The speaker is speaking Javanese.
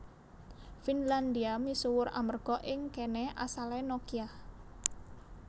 Finlandia misuwur amerga ing kéné asalé Nokia